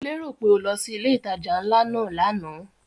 Mo lérò pé o lọ sí ilé ìtajà ńlá náà lánàá?